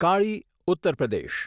કાળી ઉત્તર પ્રદેશ